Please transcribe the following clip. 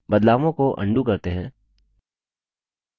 बदलावों को अन्डू करते हैं